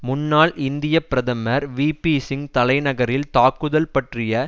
முன்னாள் இந்திய பிரதமர் விபிசிங் தலைநகரில் தாக்குதல் பற்றிய